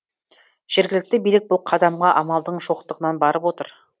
жергілікті билік бұл қадамға амалдың жоқтығынан барып отыр